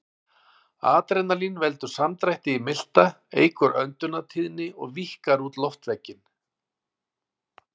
Adrenalín veldur samdrætti í milta, eykur öndunartíðni og víkkar út loftveginn.